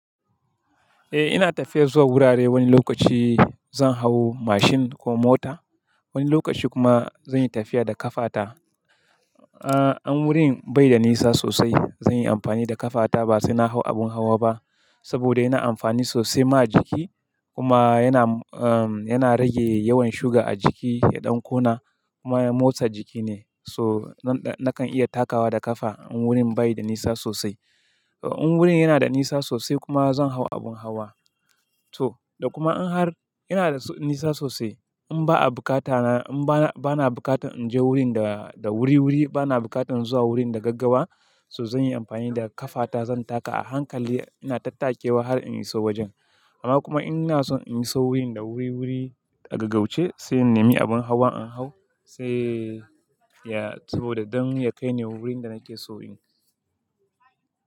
Eh ina tafiya zuwa wurare wani lokaci zan hau mashin ko mota, wani lokaci kuma zan yi tafiya da kafata. Amma in wurin bai da nisa sosai zan yi amfani da kafata ba sai na hau abin hawa ba saboda yana amfani sosai ma a jiki kuma yana, um, yana rage yawan sugar a jiki, ya ɗan ƙona kuma motsa jiki ne. So nakan iya takawa da kafa in wurin bai da nisa sosai. In wurin yana da nisa sosai kuma zan hau abin hawa. To, da kuma in har yana da nisa sosai in ba a bukata na, in ba na bukatar in je wurin da, da wuri-wuri, ba na bukatan zuwa wurin da gaggawa, so zan yi amfani da kafata zan taka a hankali ina tattakewa har in iso wajen. Amma kuma in ina son in iso wurin da wuri-wuri a gaggauce sai in nemi abin hawa in hau sai ya, saboda don ya kai ni wurin da nake so in.